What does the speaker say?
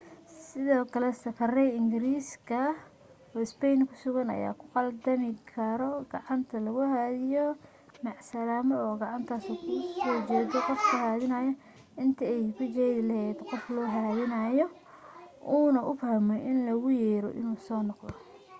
sidoo kale safareey ingiriis oo spain ku sugan ayaa ku qaldami karo gacanta loogu haadinaayo macasalaamo oo gacanta kusoo jeedo qofka haadinaayo inta ay ku jeedi lahayd qofka loo haadinaayo uu na u fahmo in logu yeerayo inuu soo noqdo